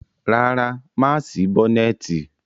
Rárá, mà á sí bọ́nẹ́ẹ̀tì.